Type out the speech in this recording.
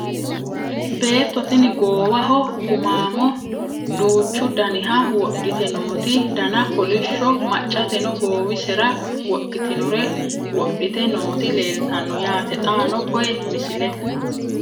Beetto tinni goowaho gumaammo duuchu danniha wodhitte nootti danna kolishsho maccatteno goowisera wodhittinore wodhitte nootti leelittanno yaatte xaanno koye misilette